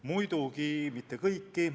Muidugi mitte kõiki.